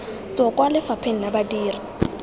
tswa kwa lefapheng la badiri